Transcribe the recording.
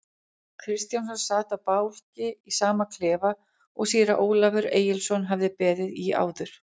Kristjánsson sat á bálki í sama klefa og síra Ólafur Egilsson hafði beðið í áður.